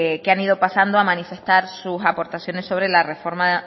que han ido pasando a manifestar sus aportaciones sobre la reforma